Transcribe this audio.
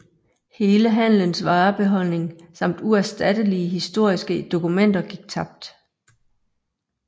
Hele handelens varebeholdning samt uerstattelige historiske dokumenter gik tabt